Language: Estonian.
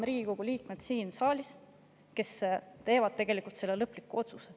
Riigikogu liikmed siin saalis on need, kes tegelikult teevad selle lõpliku otsuse.